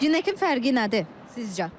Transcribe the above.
Ünəkin fərqi nədir sizcə?